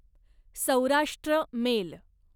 Saurashtra mail